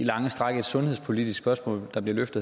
lange stræk et sundhedspolitisk spørgsmål der bliver rejst